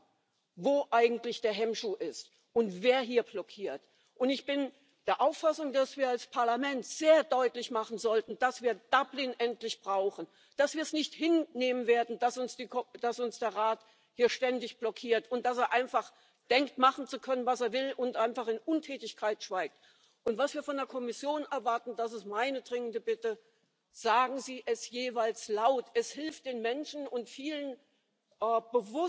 law and we manage. And if we can get to a free trade deal, well, of course, there'll be no difficulties whatsoever. I thought you had some very positive things to say. You said our vote to leave was a vote to leave the single market and its associated parts. I agree with you. Quite why Ms May at Chequers wants to opt back into much